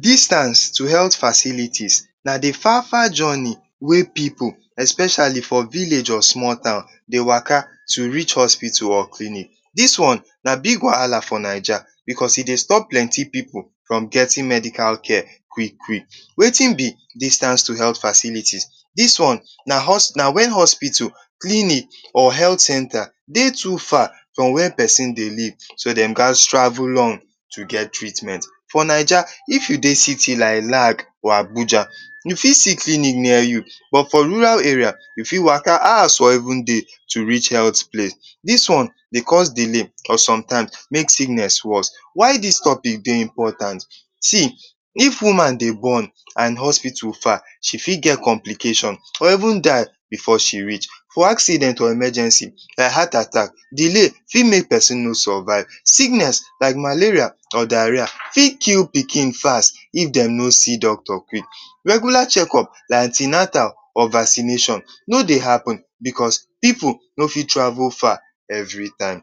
Distance to helt facility na the far-far joni wey pipu especiali for village or smol town dey waka to rich hospitu or clinic. Dis one na big wahala for naija becos e dey stop plenty pipu from getin medical care kwik. Wetin be distance to helt facilitis? Dis one na wen hospital, clinic centa dey too far from where pesin dey live so den ghas travel long to get treatment. For naija if you dey citi like Lag or Abuja, you fit see clinic near you but for roral area, you fit waka hous for even dey rich helt place. Dis one dey cos delay or sometime mey sikness wos. Why dis topic dey impotant? see! If woman dey bon, and hospitu far, she fit get complication, she go even dai before she reach, foe accident or emagensi, delay fit make pesin no survive, like malaria or dareah fit kill pikin fast if de no see doctor kwik. Regula chekop and anti-natal or vacineshon no dey happen becos pipu no fit travul far every time.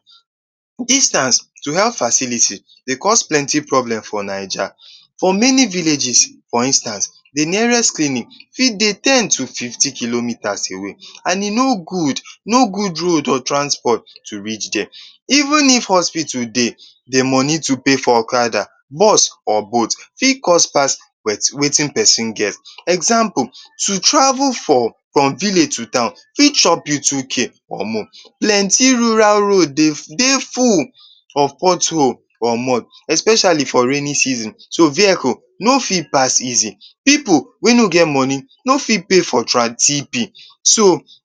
Distans to helt facility dey cos plenty problem for Naija. For meni villages for instance, the nearest clinic fit dey ten to fifty kilomita away and e no gud, no gud transpot to rich dia. Even if hospitu dey, the mini to pay for okada, bus or boat fit cost pas wetin pesin get. Example to travel from vilage to town fit chop you two k (2k) or more, plenty road de dey pothole or more especiali for rainin season so vehikul no fit pas easili. Pipu wey no get moni no fit pay for tran TP,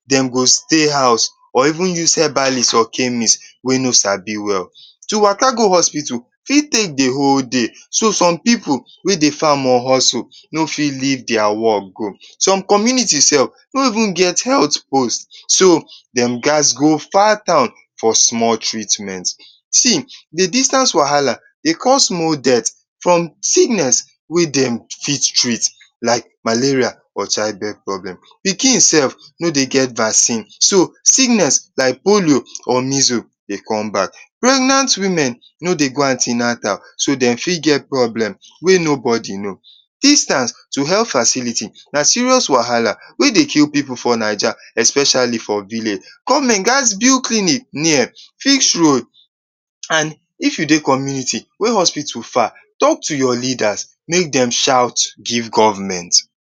den go stey hous or even habalis or kemis wey no sabi wel. To waka go hospitu fit take the whole day, som pipu wey dey fam or hozul no fit liv dia farm go. Som community sef no even get helt post so den ghas go far town for small treatment. See! The distance wahala dey cost more death from sikness wey dem fit treat like malaria or child birth problem. Pikin sef no dey get vacin, sikness like polio or measles dey come bak. Pregnant wimen no dey go anti-natal, so, den fit get problem wey nobody know. Distance to helt facility na serious wahala wey dey kill pipu fpr Naija especiali for village. Government ghas build clinic, fix road and if you dey community wey hospitu far, talk to your leadas make dem shaut giv government.